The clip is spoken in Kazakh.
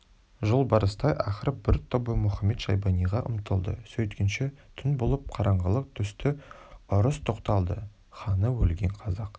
жолбарыстай ақырып бір тобы мұхамед-шайбаниға ұмтылды сөйткенше түн болып қараңғылық түсті ұрыс тоқталды ханы өлген қазақ